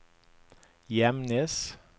Gjemnes